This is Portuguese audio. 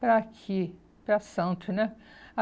para aqui, para Santos, né?